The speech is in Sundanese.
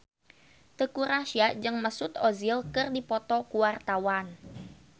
Teuku Rassya jeung Mesut Ozil keur dipoto ku wartawan